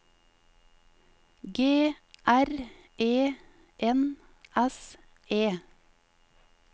G R E N S E